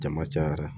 Jama cayara